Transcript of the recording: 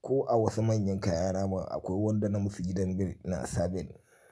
Ko a wasu manyan kayana ma akwai wanda na musu gidan bel ina sa bel.